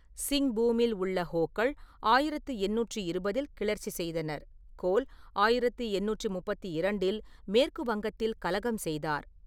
சிங்பூமில் உள்ள ஹோக்கள் ஆயிரத்தி எண்ணூற்றி இருபதில் கிளர்ச்சி செய்தனர், கோல் ஆயிரத்தி எண்ணூற்றி முப்பத்தி இரண்டில் மேற்கு வங்கத்தில் கலகம் செய்தார்.